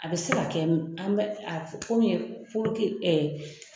A bɛ se ka kɛ an bɛ komi puruke